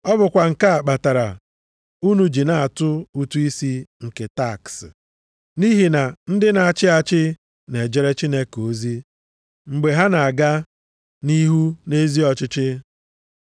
Ọ bụkwa nke a kpatara unu ji na-atụ ụtụ isi nke taks, nʼihi na ndị na-achị achị na-ejere Chineke ozi mgbe ha na-aga nʼihu nʼezi ọchịchị.